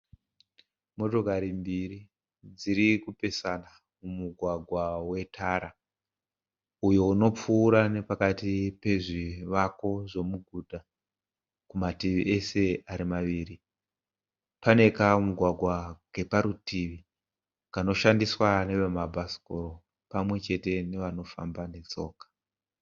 Motokari mbiri dzirikupesana mumugwagwa wetara. Uyo unopfuura nepakati pezvivako zvemuguta kumativi ese ari maviri. Pane kamugwagwa keparutivi kanoshandiswa neve mabhasikoro pamwechete nevanofamba netsoka.